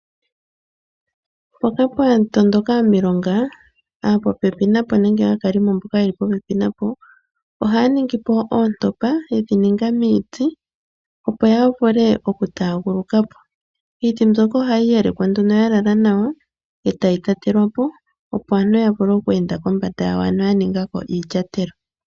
Mpoka pwa tondoka omilonga aapopepi napo nenge aakalimo mboka ye li popepi napo, ohaya ningi po oontopa ye dhi ninga miiti opo ya vule okutaaguluka po. Iiti mbyoka ohayi yalekwa nduno ya lala nawa e tayi tetelwa po, opo aantu ya vule kweenda kombanda yawo, ano ya ninga ko iilyatelo.